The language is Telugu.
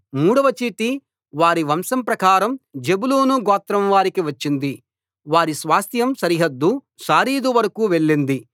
మూడవ చీటి వారి వంశం ప్రకారం జెబూలూను గోత్రం వారికి వచ్చింది వారి స్వాస్థ్యం సరిహద్దు శారీదు వరకూ వెళ్ళింది